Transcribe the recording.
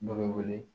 Dɔ bɛ wele